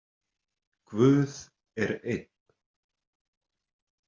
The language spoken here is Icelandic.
Guð er einn.